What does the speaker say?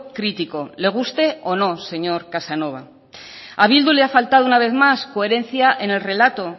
crítico le guste o no señor casanova a bildu le ha faltado una vez más coherencia en el relato